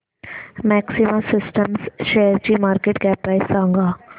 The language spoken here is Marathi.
मॅक्सिमा सिस्टम्स शेअरची मार्केट कॅप प्राइस सांगा